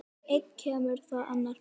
Einn kemur þá annar fer.